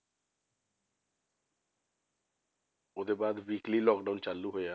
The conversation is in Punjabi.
ਉਹਦੇ ਬਾਅਦ weekly lockdown ਚਾਲੂ ਹੋਇਆ,